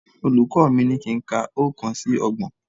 Olùkọ́ mi ní kí n ka oókan sí ọgbọ̀n